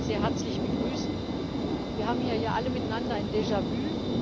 Ich möchte Sie sehr herzlich begrüßen. Wir haben hier ja alle miteinander ein Déjà vu.